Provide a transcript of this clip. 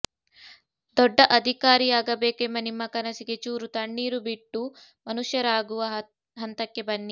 ದೊಡ್ಡ ಅಧಿಕಾರಿಯಾಗಬೇಕೆಂಬ ನಿಮ್ಮ ಕನಸಿಗೆ ಚೂರು ತಣ್ಣೀರು ಬಿಟ್ಟು ಮನುಷ್ಯರಾಗುವ ಹಂತಕ್ಕೆ ಬನ್ನಿ